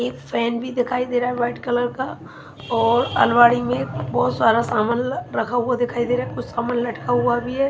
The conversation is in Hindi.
एक फैन भी दिखाई दे रहा है व्हाइट कलर का और अलमारी में बहुत सारा सामान रखा हुआ दिखाई दे रहा है कुछ सामान लटका हुआ भी है।